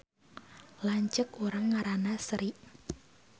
Lanceuk urang ngaranna Sri